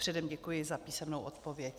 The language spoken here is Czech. Předem děkuji za písemnou odpověď.